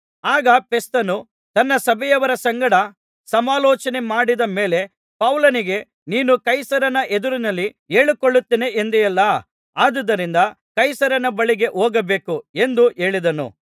ಆಗ ಫೆಸ್ತನು ತನ್ನ ಸಭೆಯವರ ಸಂಗಡ ಸಮಾಲೋಚನೆಮಾಡಿದ ಮೇಲೆ ಪೌಲನಿಗೆ ನೀನು ಕೈಸರನ ಎದುರಿನಲ್ಲಿ ಹೇಳಿಕೊಳ್ಳುತ್ತೇನೆ ಎಂದೆಯಲ್ಲಾ ಆದುದರಿಂದ ಕೈಸರನ ಬಳಿಗೇ ಹೋಗಬೇಕು ಎಂದು ಹೇಳಿದನು